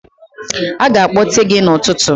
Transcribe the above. Aga akpọte gị n'ụtụtụ.